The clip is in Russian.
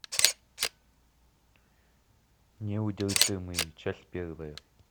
неудержимые часть первая